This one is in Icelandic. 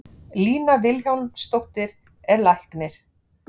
Lína Vilhjálmsdóttir er læknir.